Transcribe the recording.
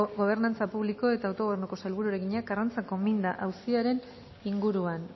gobernantza publiko eta autogobernuko sailburuari egina karrantzako minda auziaren inguruan